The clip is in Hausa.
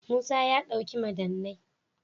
Musa ya dauki madannai.+